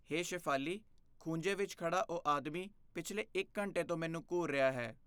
ਹੇ ਸ਼ੇਫਾਲੀ, ਖੂੰਜੇ ਵਿੱਚ ਖੜ੍ਹਾ ਉਹ ਆਦਮੀ ਪਿਛਲੇ ਇੱਕ ਘੰਟੇ ਤੋਂ ਮੈਨੂੰ ਘੂਰ ਰਿਹਾ ਹੈ।